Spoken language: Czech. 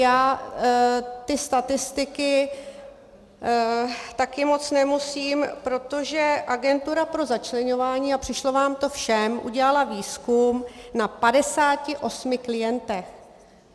Já ty statistiky také moc nemusím, protože Agentura pro začleňování, a přišlo vám to všem, udělala výzkum na 58 klientech.